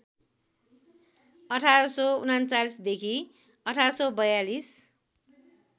१८३९ देखि १८४२